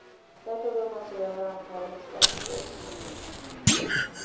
Därför bör man se över antalet stadsdelsnämnder.